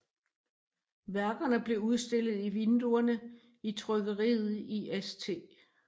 Værkerne blev udstillet i vinduerne i trykkeriet i St